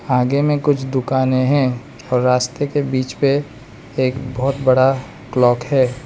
आगे में कुछ दुकानें हैं और रास्ते के बीच पे एक बहोत बड़ा क्लॉक है।